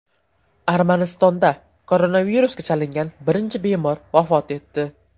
Armanistonda koronavirusga chalingan birinchi bemor vafot etdi.